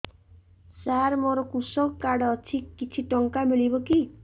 ସାର ମୋର୍ କୃଷକ କାର୍ଡ ଅଛି କିଛି ଟଙ୍କା ମିଳିବ କି